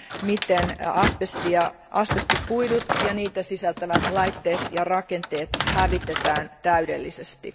miten asbesti ja asbestikuidut ja niitä sisältävät laitteet ja rakenteet hävitetään täydellisesti.